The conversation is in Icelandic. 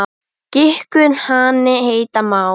Gikkur hani heita má.